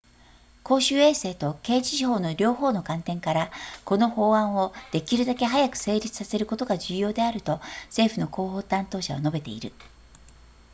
「公衆衛生と刑事司法の両方の観点から、この法案をできるだけ早く成立させることが重要であると」、政府の広報担当者は述べている